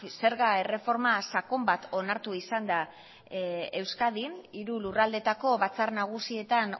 zerga erreforma sakon bat onartu izan da euskadin hiru lurraldeetako batzar nagusietan